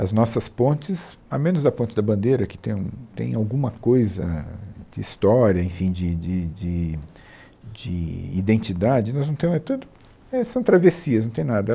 As nossas pontes, a menos da Ponte da Bandeira, que tem um tem alguma coisa de história, enfim, de de de de de identidade, nós não temos, é tudo... é, são travessias, não tem nada.